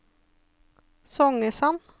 Songesand